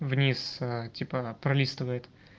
вниз типа пролистывает